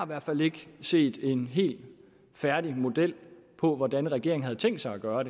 hvert fald ikke set en helt færdig model for hvordan regeringen havde tænkt sig at gøre